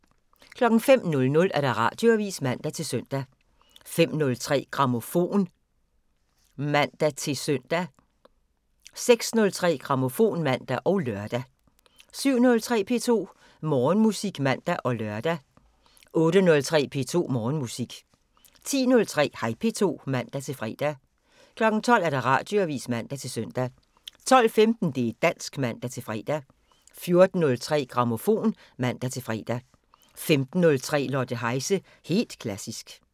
05:00: Radioavisen (man-søn) 05:03: Grammofon (man-søn) 06:03: Grammofon (man og lør) 07:03: P2 Morgenmusik (man og lør) 08:03: P2 Morgenmusik 10:03: Hej P2 (man-fre) 12:00: Radioavisen (man-søn) 12:15: Det' dansk (man-fre) 14:03: Grammofon (man-fre) 15:03: Lotte Heise – helt klassisk